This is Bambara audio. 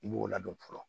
I b'o ladon fɔlɔ